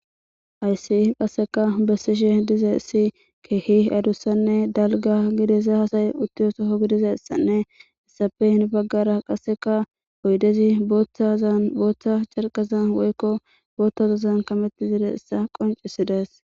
ayssi qasseka bessishe diza issi keehi adussanne dalga gidesa hasay uttiyo soho gidiza issanneissafe hin baggara qasseka oydezi ttazanbooththa carqaza woykko boothtazozan kametti zide issa qoncisi dees